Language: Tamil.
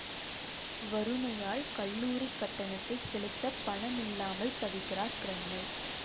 வறுமையால் கல்லூரிக் கட்டணத்தைச் செலுத்த பணம் இல்லாமல் தவிக்கிறார் கிரண்மை